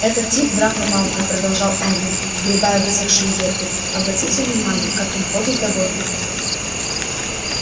этот тип драко малфой продолжал эрни сгребая высохшие ветви обратите внимание какой он ходит довольный